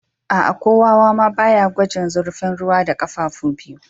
Aa, ko wawa ma ba ya gwajin zurfin ruwa da kafafu biyu.